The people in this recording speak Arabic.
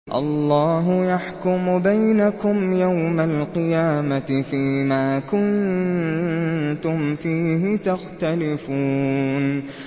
اللَّهُ يَحْكُمُ بَيْنَكُمْ يَوْمَ الْقِيَامَةِ فِيمَا كُنتُمْ فِيهِ تَخْتَلِفُونَ